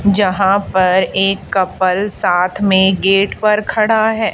जहां पर एक कपल साथ में गेट पर खड़ा है।